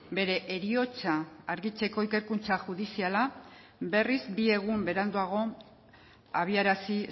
bere heriotza argitzeko ikerkuntza judiziala berriz bi egun beranduago abiarazi